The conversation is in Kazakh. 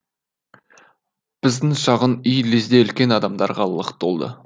біздің шағын үй лезде үлкен адамдарға лық толды